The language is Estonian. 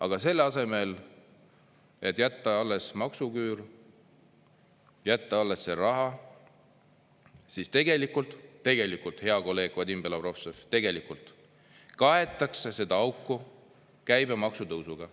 Aga selle asemel et jätta alles maksuküür, jätta alles see raha, siis tegelikult, hea kolleeg Vadim Belobrovtsev, tegelikult kaetakse seda auku käibemaksu tõusuga.